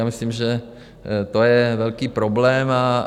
Já myslím, že to je velký problém.